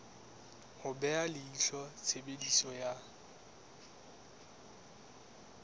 ho beha leihlo tshebediso ya